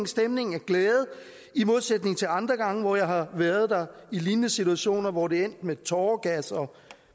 stemning af glæde i modsætning til andre gange hvor jeg har været der i lignende situationer hvor det er endt med tåregas og